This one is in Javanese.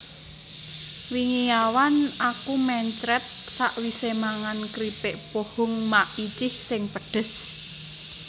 Wingi awan aku mencret sakwise mangan kripik pohong Maicih sing pedhes